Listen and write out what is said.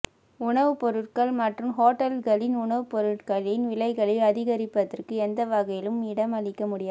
உணவு பொருட்கள் மற்றும் ஹோட்டல்களின் உணவுப் பொருட்களின் விலைகளை அதிகரிப்பதற்கு எந்த வகையிலும் இடமளிக்க முடியாது